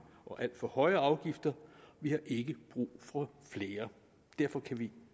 og alt for høje afgifter vi har ikke brug for flere derfor kan vi